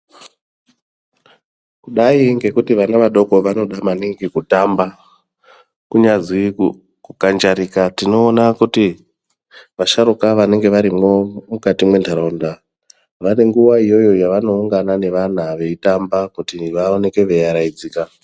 Kudai ngekuti vana vadoko vanoda maningi kutamba kunyazi ku kukanjarika tinoona kuti vadharuka vanenge varimwo mukati mwentaraunda vane nguwa iyoyo yavanoungana nevana Veitamba kuti vaobeke veiaraiDzika.